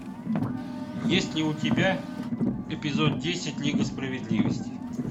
есть ли у тебя эпизод десять лига справедливости